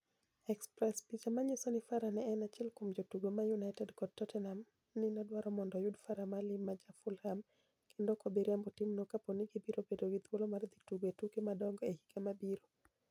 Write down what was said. (Express) Picha maniyiso nii Farah ni e eni achiel kuom jotugo ma Uniited kod Totteniham ni e dwaro monido oyud Farah Maalim ma ja Fulham kenido ok bi riembo timno kapo nii gibiro bedo gi thuolo mar dhi tugo e tuke madonigo e higa mabiro